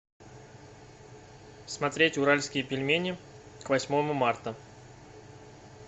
смотреть уральские пельмени к восьмому марта